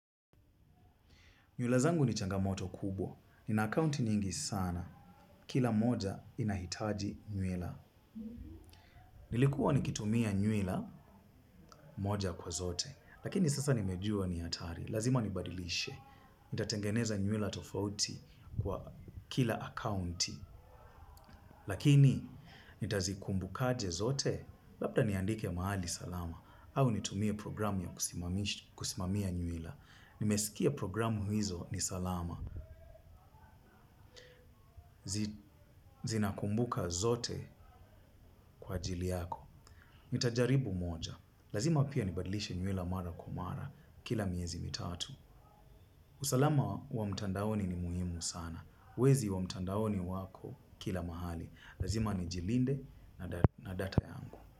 Nywila zangu ni changamoto kubwa. Nina akaunti nyingi sana. Kila moja inahitaji nywila. Nilikuwa nikitumia nywila moja kwa zote. Lakini sasa nimejua ni hatari. Lazima nibadilishe. Nitatengeneza nywila tofauti kwa kila akaunti. Lakini nitazikumbukaje zote. Labda niandike mahali salama. Au nitumie programu ya kusimamia nywila. Nimesikia programu hizo ni salama. Zina kumbuka zote kwa ajili yako nitajaribu moja. Lazima pia nibadilishe nywila mara kwa mara. Kila miezi mitatu usalama wa mtandaoni ni muhimu sana. Wezi wa mtandaoni wako kila mahali. Lazima nijilinde na data yangu.